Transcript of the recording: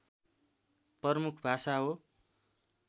प्रमुख भाषा हो